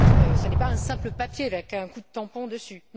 Ce n'est pas un simple papier avec un coup de tampon dessus.